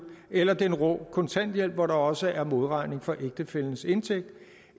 eller den rå kontanthjælp hvor der også er modregning for ægtefællens indtægt